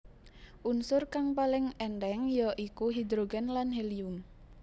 Unsur kang paling èntheng ya iku hidrogen lan helium